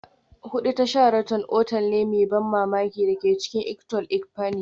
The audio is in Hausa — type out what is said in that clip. Hudu ta Sheraton otal ne mai ban mamaki da ke cikin Ikot Ekpene